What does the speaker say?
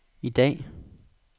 i dag